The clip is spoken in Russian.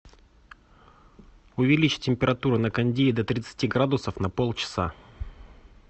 увеличь температуру на кондее до тридцати градусов на полчаса